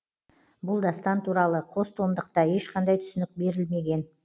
бұл дастан туралы қос томдықта ешқандай түсінік берілмеген